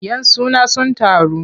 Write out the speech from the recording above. Yan suna sun taru.